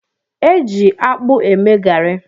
Eji ji akpụ eme garị.